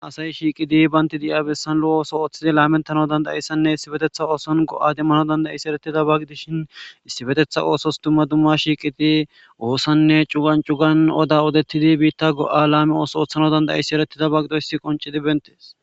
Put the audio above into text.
Asay shiiqi diya bessan lo7o ootho laametanayssanne issipetetha go7a demmanaysa gidishin issipetetha ooso dumma dumma oosonne cugan shiiqidi cugan odettidi biitta go7a laame ootho oothonaadan dizaysi qoncidi beettees.